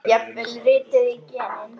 Jafnvel rituð í genin?